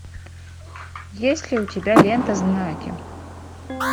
есть ли у тебя лента знаки